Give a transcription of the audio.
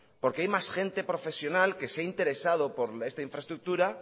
porque hay más gente profesional que se ha interesado por esta infraestructura